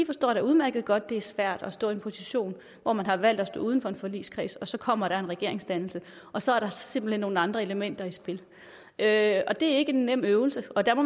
forstår da udmærket godt at det er svært at stå i en position hvor man har valgt at stå uden for en forligskreds og så kommer der en regeringsdannelse og så er der simpelt hen nogle andre elementer i spil det er ikke en nem øvelse og der må